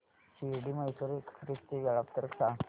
Shirdi Mysore express चे वेळापत्रक सांग